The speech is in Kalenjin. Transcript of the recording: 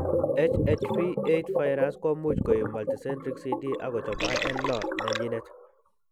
HHV 8 Virusi komuch koib multicentric CD akochob IL 6 nenyinet